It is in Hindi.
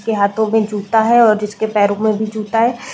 के हाथों में जूता है और जिसके पैरों में भी जूता है।